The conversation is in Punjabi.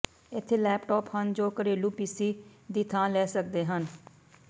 ਇੱਥੇ ਲੈਪਟਾਪ ਹਨ ਜੋ ਘਰੇਲੂ ਪੀਸੀ ਦੀ ਥਾਂ ਲੈ ਸਕਦੇ ਹਨ